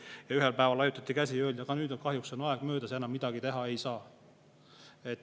Ja ühel päeval laiutati käsi ja öeldi, et nüüd on kahjuks aeg möödas, enam midagi teha ei saa.